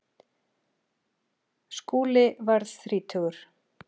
Skúli varð þrítugur.